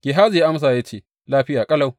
Gehazi ya amsa ya ce, Lafiya ƙalau.